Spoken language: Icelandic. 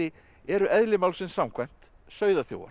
eru eðli málsins samkvæmt